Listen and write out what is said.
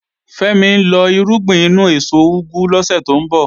Fẹ́mi ń lọ irúgbìn inú èso úgú lọ́sẹ̀ tó ń bọ̀